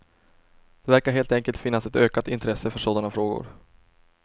Det verkar helt enkelt finnas ett ökat intresse för sådana frågor.